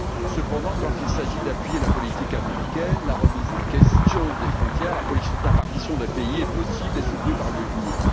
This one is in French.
Cependant, quand il s'agit d'appuyer la politique américaine, la remise en question des frontières et la partition de pays sont possibles et soutenues par l'Union.